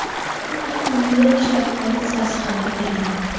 Bu haqda Nyu-York shtati politsiyasi xabar bergan .